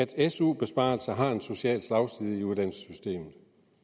til at su besparelser har en social slagside i uddannelsessystemet